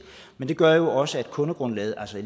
men det gør jo også at kundegrundlaget altså